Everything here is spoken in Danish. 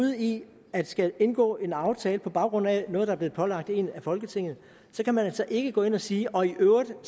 ude i at skulle indgå en aftale på baggrund af noget der er blevet pålagt en af folketinget så kan man altså ikke samtidig gå ind og sige og i øvrigt